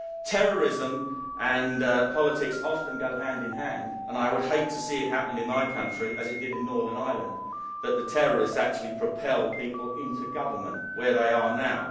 Terrorism and politics often go hand in hand and I would hate to see it happen in my country, as it did in Northern Ireland, that the terrorists actually propel people into government, where they are now.